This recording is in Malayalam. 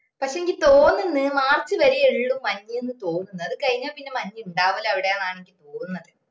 പക്ഷേങ്കിൽ തോന്നുന്നു മാർച്ച് വരെയേ ഇള്ളൂ മഞ്ഞിന്ന് തോന്നുന്നു അത് കഴിഞ്ഞാ പിന്നെ മഞ്ഞിണ്ടാവുല്ല അവിടെന്നാണ് നിക് തോന്നുന്നേ